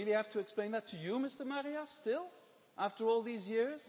Do I really have to explain that to you, Mr Marias, still, after all these years?